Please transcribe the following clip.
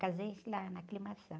Casei-me lá na.